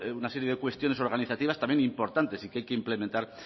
una serie de cuestiones organizativas también importantes y que hay que implementar